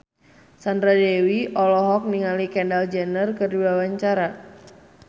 Sandra Dewi olohok ningali Kendall Jenner keur diwawancara